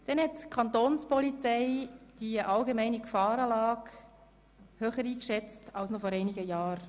Die Kantonspolizei schätzt die allgemeine Gefahrenlage höher ein als noch vor einigen Jahren.